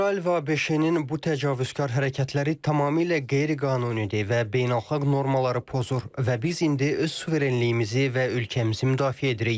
İsrail və ABŞ-nin bu təcavüzkar hərəkətləri tamamilə qeyri-qanunidir və beynəlxalq normaları pozur və biz indi öz suverenliyimizi və ölkəmizi müdafiə edirik.